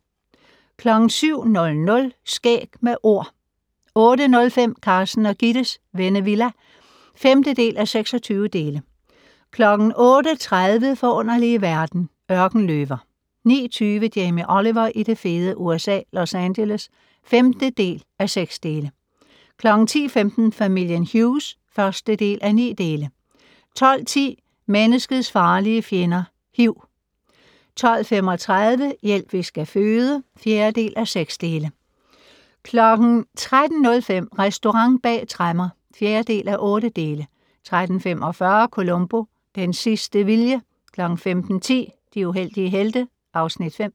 07:00: Skæg med Ord 08:05: Carsten og Gittes Vennevilla (5:26) 08:30: Forunderlige verden - Ørkenløver 09:20: Jamie Oliver i det fede USA - Los Angeles (5:6) 10:15: Familien Hughes (1:9) 12:10: Menneskets farlige fjender - hiv 12:35: Hjælp, vi skal føde (4:6) 13:05: Restaurant bag tremmer (4:8) 13:45: Columbo: Den sidste vilje 15:10: De uheldige helte (Afs. 5)